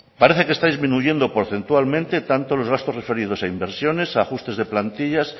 parece que está disminuyendo porcentualmente tanto los gastos referidos a inversiones ajustes de plantillas